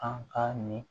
An ka nin